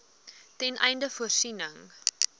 ten einde voorsiening